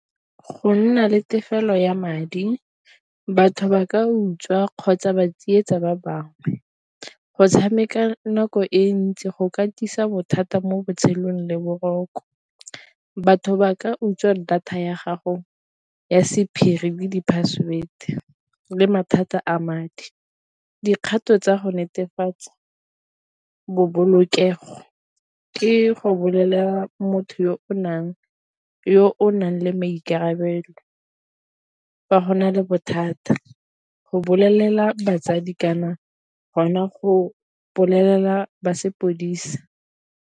Go nna le tefelo ya madi batho ba ka utswa kgotsa ba tsietsa ba bangwe, go tshameka nako e ntsi go katisa bothata mo botshelong le boroko, batho ba ka utswa data ya gago ya sephiri kgwedi password le mathata a madi. Dikgato tsa go netefatsa ke go bolelela motho yo o nang le maikarabelo fa go na le bothata, go bolelela batsadi kana gona go bolelela ba sepodisi.